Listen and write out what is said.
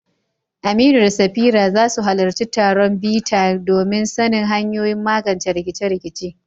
Aminu da Safira za su halarci taron bita domin sanin hanyoyin magance rikice-rikice.